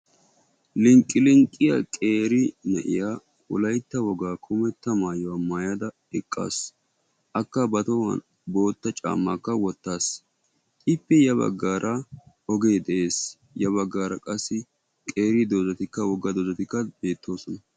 linqqi linqqiya qeeri na'iya wolaytta wogaa kummeta maayuwa maayada eqaasu. akka ba tohuwan qeeri caamaakka wotaasu. ippe ya bagaara ogee de'ees, y bagaara dozzatikka de'oosona